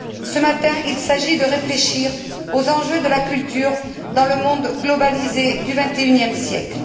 Ce matin, il s'agit de réfléchir aux enjeux de la culture dans le monde globalisé du XXIe siècle.